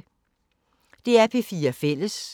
DR P4 Fælles